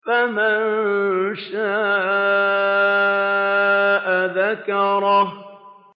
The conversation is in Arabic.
فَمَن شَاءَ ذَكَرَهُ